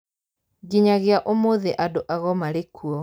Nginyagia ũmũthĩ andũ ago marĩ kuo